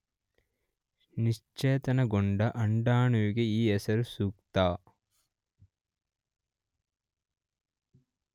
ನಿಶೇಚನಗೊಂಡ ಅಂಡಾಣುವಿಗೆ ಈ ಹೆಸರು ಸೂಕ್ತ.